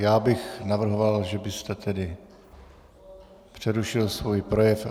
Já bych navrhoval, že byste tedy přerušil svůj projev.